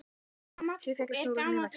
Sjö féllu í skotárás í Mexíkó